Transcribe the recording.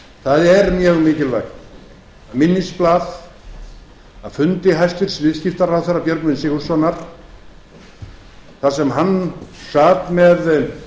það er mjög mikilvægt að minnisblað af fundi hæstvirtur viðskiptaráðherra björgvins sigurðssonar þar sem hann sat með